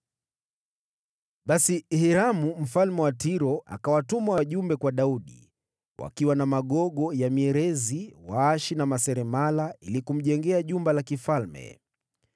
Basi Hiramu mfalme wa Tiro akawatuma wajumbe kwa Daudi, wakiwa na magogo ya mierezi, waashi na maseremala ili kumjengea jumba la kifalme.